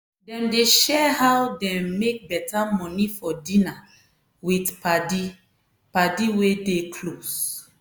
dem dey share how dem make beta money for dinner with paddy paddy wey dey close.